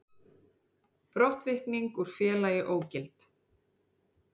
Brottvikning úr félagi ógild